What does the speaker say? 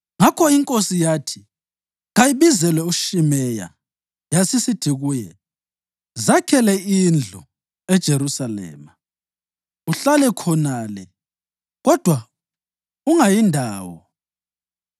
Ngakho inkosi yathi kayibizelwe uShimeyi yasisithi kuye. “Zakhele indlu eJerusalema uhlale khonale, kodwa ungayi ndawo.